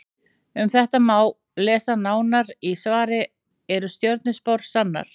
Um þetta má lesa nánar í svari Eru stjörnuspár sannar?